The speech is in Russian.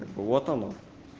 вот оно